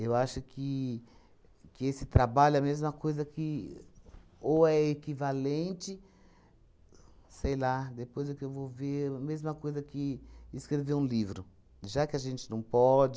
acho que que esse trabalho é a mesma coisa que... Ou é equivalente... Sei lá, depois é que eu vou ver, mesma coisa que escrever um livro, já que a gente não pode.